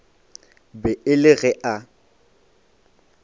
be e le ge a